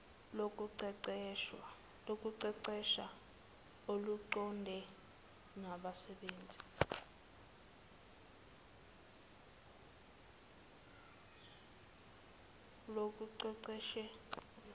lokuqeqesha oluqondene nabasebenzi